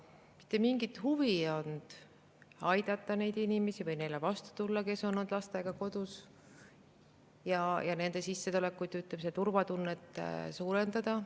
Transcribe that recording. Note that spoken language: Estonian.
Mitte mingit huvi ei olnud aidata neid inimesi või vastu tulla neile, kes on olnud lastega kodus, nende sissetulekuid ja, ütleme, turvatunnet suurendada.